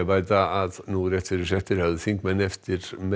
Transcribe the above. bæta að nú rétt fyrir fréttir höfðu þingmenn eftir May